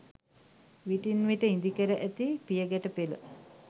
විටින් විට ඉදිකැර ඇති පියගැටපෙළ